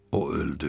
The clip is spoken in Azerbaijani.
O öldü.